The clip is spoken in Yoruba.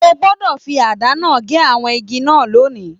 O gbọdọ fí àdá náà gé àwọn igi náà lónì!